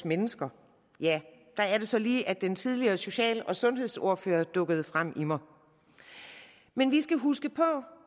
mennesker ja der er det så lige at den tidligere social og sundhedsordfører dukker frem i mig men vi skal huske på